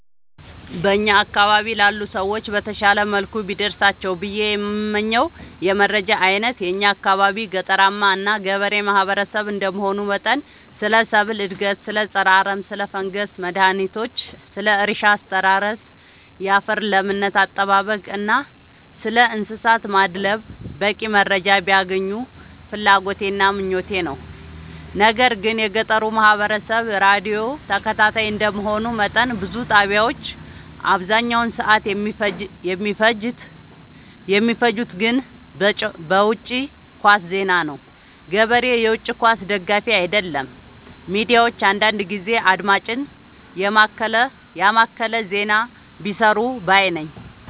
በእኛ አካባቢ ላሉ ሰዎች በተሻለ መልኩ ቢደርሳቸው ብዬ የምመኘው የመረጃ አይነት የእኛ አካባቢ ገጠራማ እና ገበሬ ማህበሰብ እንደመሆኑ መጠን ስለ ሰብል እድገት ስለ ፀረ አረም ፀረፈንገስ መድሀኒቶች ስለ እርሻ አስተራረስ ያፈር ለምነት አጠባበቅ እና ስለእንሰሳት ማድለብ በቂ መረጃ ቢያገኙ ፍላጎቴ እና ምኞቴ ነው። ነገር ግን የገጠሩ ማህበረሰብ ራዲዮ ተከታታይ እንደ መሆኑ መጠን ብዙ ጣቢያዎች አብዛኛውን ሰዓት የሚፈጅት ግን በውጪ ኳስ ዜና ነው። ገበሬ የውጪ ኳስ ደጋፊ አይደለም ሚዲያዎች አንዳንዳንድ ጊዜ አድማጭን የማከለ ዜና ቢሰሩ ባይነኝ።